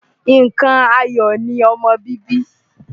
Nǹkan ayọ̀ ni ọmọ bíbí.